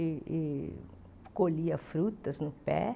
E e colhia frutas no pé.